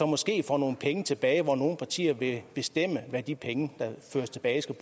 måske får nogle penge tilbage og hvor nogle partier vil bestemme hvad de penge der føres tilbage